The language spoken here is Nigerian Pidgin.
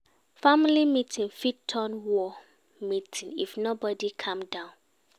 Family meeting fit turn war meeting if nobodi calm down.